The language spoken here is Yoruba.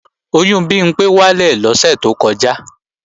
Oyún Bimpé wálẹ̀ lọ́sẹ̀ tó kọjá